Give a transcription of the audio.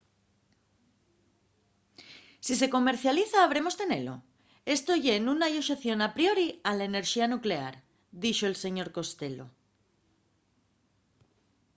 si se comercializa habremos tenelo. esto ye nun hai una oxeción a priori a la enerxía nuclear,” dixo'l señor costello